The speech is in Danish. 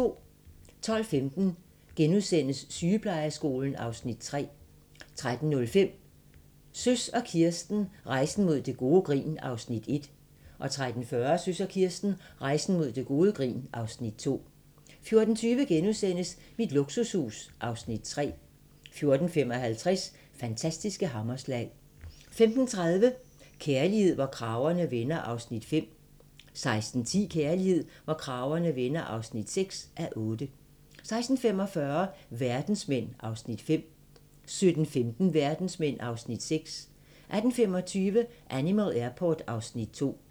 12:15: Sygeplejeskolen (Afs. 3)* 13:05: Søs og Kirsten - Rejsen mod gode grin (Afs. 1) 13:40: Søs og Kirsten - Rejsen mod gode grin (Afs. 2) 14:20: Mit luksushus (Afs. 3)* 14:55: Fantastiske hammerslag 15:30: Kærlighed, hvor kragerne vender (5:8) 16:10: Kærlighed, hvor kragerne vender (6:8) 16:45: Verdensmænd (Afs. 5) 17:15: Verdensmænd (Afs. 6) 18:25: Animal Airport (Afs. 2)